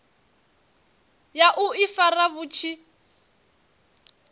ya u ifara vhu tshi